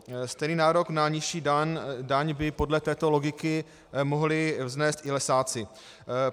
Stejný nárok na nižší daň by podle této logiky mohli vznést i lesáci.